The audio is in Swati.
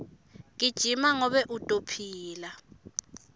gijima ngobe utophila